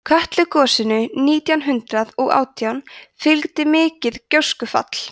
kötlugosinu nítján hundrað og átján fylgdi mikið gjóskufall